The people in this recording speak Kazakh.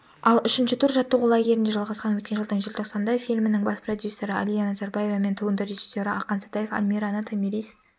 ал үшінші тур жаттығу лагерінде жалғасқан өткен жылдың желтоқсанында фильмнің бас продюсері әлия назарбаева мен туынды режиссері ақан сатаев алмираны томирис